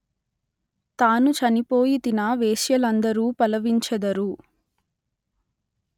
తాను చనిపోయితినా వేశ్యలందరు పలవించెదరు